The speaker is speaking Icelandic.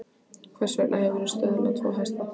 Hvers vegna hefurðu söðlað tvo hesta?